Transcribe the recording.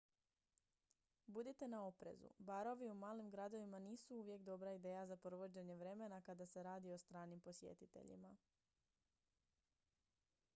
budite na oprezu barovi u malim gradovima nisu uvijek dobra ideja za provođenje vremena kada se radi o stranim posjetiteljima